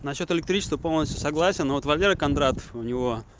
насчёт электричества полностью согласен вот валера кондратов у него